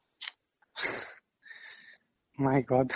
my god